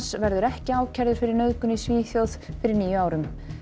verður ekki ákærður fyrir nauðgun í Svíþjóð fyrir níu árum